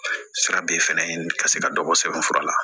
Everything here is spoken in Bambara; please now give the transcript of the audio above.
Sira bɛ fɛnɛ ka se ka dɔ bɔ sɛbɛnfura la